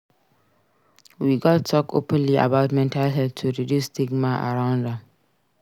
We gats talk openly about mental health to reduce stigma around am.